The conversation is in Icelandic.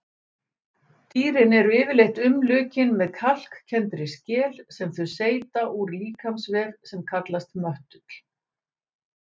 Dýrin eru yfirleitt umlukin með kalkkenndri skel sem þau seyta úr líkamsvef sem kallast möttull.